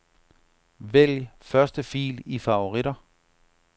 Vælg første fil i favoritter.